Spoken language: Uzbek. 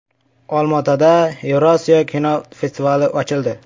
Olmaotada “Yevrosiyo” kinofestivali ochildi .